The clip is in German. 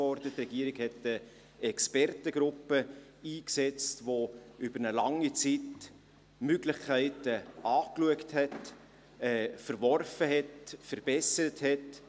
Die Regierung setzte eine Expertengruppe ein, welche über eine lange Zeit die Möglichkeiten anschaute, verwarf, verbesserte.